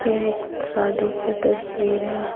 यह एक शादी की तस्वीर है।